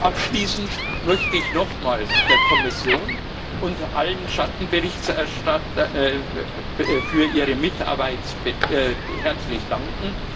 Abschließend möchte ich nochmal der Kommission und allen Schattenberichterstattern für ihre Mitarbeit herzlich danken.